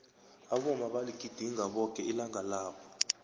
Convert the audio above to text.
abomma baligidinga bonke ilanga labo